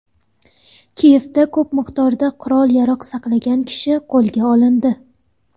Kiyevda ko‘p miqdorda qurol-yarog‘ saqlagan kishi qo‘lga olindi.